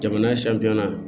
Jamana sanja na